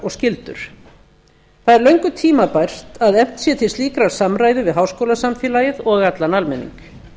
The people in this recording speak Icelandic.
og skyldur það er löngu tímabært að efnt sé til slíkrar samræðu við háskólasamfélagið og allan almenning